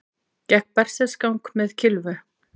Gekk berserksgang með kylfu